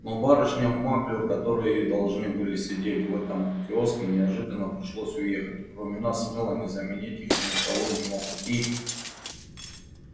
но барышням маклюр которые должны были сидеть в этом киоске неожиданно пришлось уехать и кроме нас с мелани заменить их никого не мог и